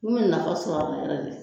N ye nafa sɔrɔ